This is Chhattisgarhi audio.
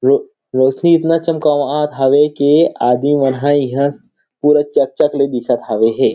रो रोशनी इतना चमकावत हे की आदमी मन ह पूरा चक-चक ला दिखत हावे हे।